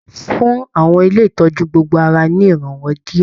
Fún àwọn ilé ìtọjú gbogbo ara ní iranwọ diẹ!